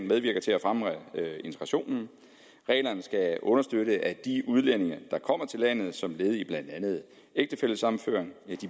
medvirker til at fremme integrationen reglerne skal understøtte at de udlændinge der kommer til landet som led i blandt andet ægtefællesammenføring